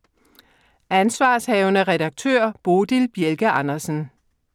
Ansv. redaktør: Bodil Bjelke Andersen